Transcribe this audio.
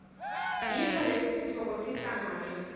yintfo lesititfokotisangayo